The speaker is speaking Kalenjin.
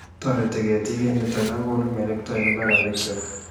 Toreti ketiik eng nito ako konu melekto eng mbaranikcho